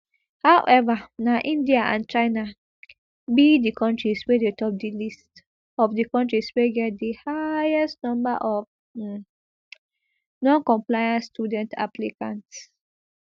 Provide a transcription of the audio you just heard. however na india and china be di kontris wey dey top di list of di kontris wey get di highest number of um noncompliant student applicants